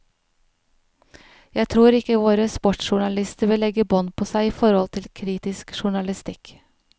Jeg tror ikke våre sportsjournalister vil legge bånd på seg i forhold til kritisk journalistikk.